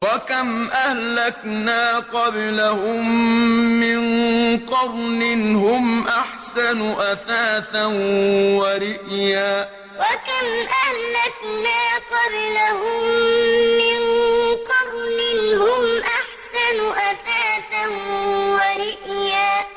وَكَمْ أَهْلَكْنَا قَبْلَهُم مِّن قَرْنٍ هُمْ أَحْسَنُ أَثَاثًا وَرِئْيًا وَكَمْ أَهْلَكْنَا قَبْلَهُم مِّن قَرْنٍ هُمْ أَحْسَنُ أَثَاثًا وَرِئْيًا